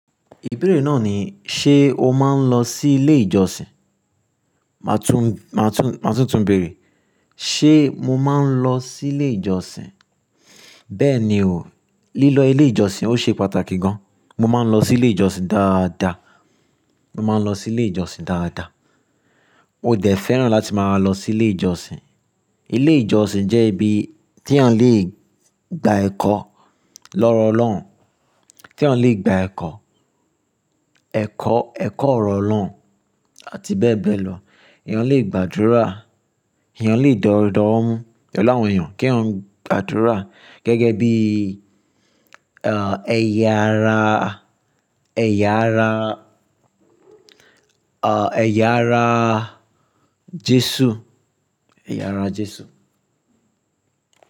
Ìbéèrè náà ni: ṣe o máa ń lọ sí ilé ìjọsìn? Màá tún, máa tún, máa tún túnbèèrè. Ṣé mo máa ń lọ sí ilé ìjọsìn? Bẹ́ẹ̀ ni o. Lílọ ilé ìjọsìn ó ṣe pàtàkì gan. Mo máa ń lọ sí ilé ìjọsìn dáadáa. Mo máa ń lọ sí ilé ìjọsìn dáadáa. Mo dẹ̀ fẹ́ràn láti máa lọ sí ilé ìjọsìn. Ilé ìjọsìn jẹ́ ibi tí ẹ́yan lè gba ẹ̀kọ́ lọ́rọ̀ Ọlọ́run, tí ẹ́yan le gba ẹ̀kọ́, ẹ̀kọ́, ẹ̀kọ́ ọ̀rọ̀ Ọlọ́run àti bẹ́ẹ̀ bẹ́ẹ̀ lọ. Eyan lè gbàdúrà, eyan lè dódó wo mú. Pelu awon èyàn kí eyan gbàdúrà gẹ́gẹ́ bí, ẹ́, ẹ̀yà ara, ẹ̀yà ara, ẹ́, ẹ̀yà ara Jésù. Ẹ̀yà ara Jésù.